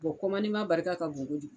barika ka bon kojugu.